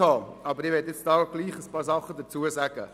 Ich möchte jetzt doch einige Dinge dazu sagen.